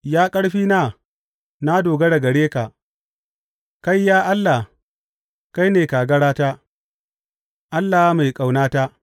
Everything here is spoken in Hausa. Ya ƙarfina, na dogara gare ka; kai, ya Allah, kai ne kagarata, Allah mai ƙaunata.